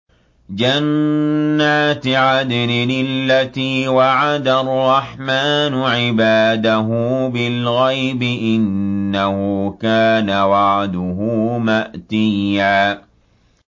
جَنَّاتِ عَدْنٍ الَّتِي وَعَدَ الرَّحْمَٰنُ عِبَادَهُ بِالْغَيْبِ ۚ إِنَّهُ كَانَ وَعْدُهُ مَأْتِيًّا